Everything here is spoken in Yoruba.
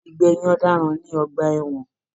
Igbẹyin ọdaràn ní ọgbà ẹwọn